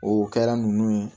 O kɛra nunnu ye